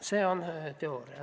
See on teooria.